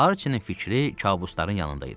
Arçinin fikri kabuslarının yanında idi.